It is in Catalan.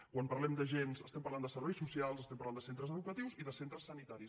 quan parlem d’agents estem parlant de serveis socials estem parlant de centres educatius i de centres sanitaris